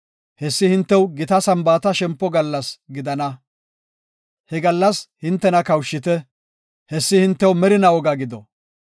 Hessi hintew gita Sambaata shempo gallas gidana. He gallas hintena kawushite; hessi hintew merinaa woga gido.